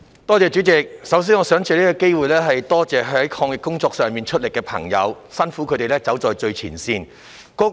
代理主席，首先，我想藉此機會感謝在抗疫工作上出力的朋友，他們走在最前線，辛苦了。